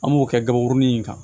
An b'o kɛ gaburunin in kan